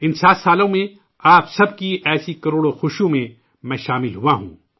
ان 7 سالوں میں آپ سب کی ایسی کروڑوں خوشیوں میں، میں شامل ہوا ہوں